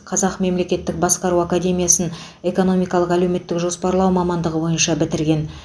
қазақ мемлекеттік басқару академиясын экономикалық әлеуметтік жоспарлау мамандығы бойынша бітірген